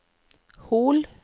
Hol